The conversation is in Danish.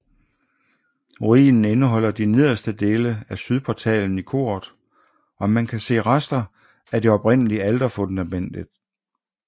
Ruinen indeholder de nederste dele af sydportalen i koret og man kan se rester af det oprindelige alterfundamentet